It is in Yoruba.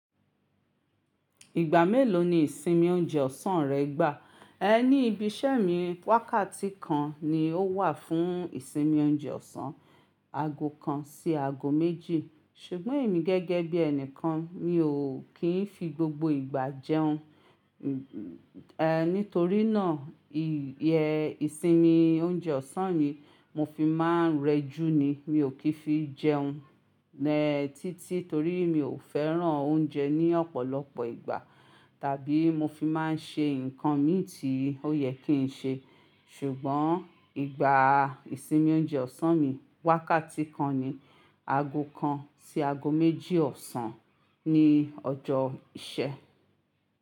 Ìgbà mélòó ni ìsinmi oúnjẹ ọ̀sán rẹ gbá? Ni ibi iṣẹ́ mi wákàtí kan ni ó wà fún ìsinmi oúnjẹ ọ̀sán, aago kan sí aago méjì, ṣùgbọ́n èmi gẹ́gẹ́ bí ẹni kan mi ò kí ń fi gbogbo ìgbà jẹun. Ehn, nítorínà ìsinmi oúnjẹ ọ̀sán yìí mo fi máa ń rẹjú ni, mi ò kí ń fi jẹun. Ehn, títí torí mi ò fẹ́ràn oúnjẹ ní ọ̀pọ̀lọpọ̀ ìgbà, tàbí mo fi máa ń ṣe nǹkan mi tí ó yẹ kí ń ṣe. Ṣùgbọ́n ìgbà ìsinmi oúnjẹ ọ̀sán mi wákàtí kan ni, aago kan sí aago méjì ọ̀sán ni ọjọ́ ìṣẹ́.